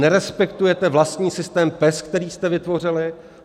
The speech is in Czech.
Nerespektujete vlastní systém PES, který jste vytvořili.